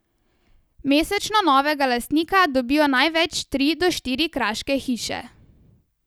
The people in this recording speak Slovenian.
Mesečno novega lastnika dobijo največ tri do štiri kraške hiše.